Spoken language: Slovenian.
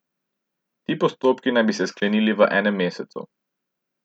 Ti postopki naj bi se sklenili v enem mesecu.